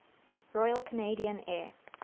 royal canadian air